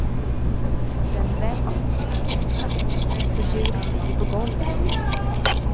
Den välts blixtsnabbt, så djuret ligger på golvet.